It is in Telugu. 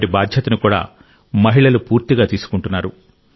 వాటి బాధ్యతను కూడా మహిళలు పూర్తిగా తీసుకుంటున్నారు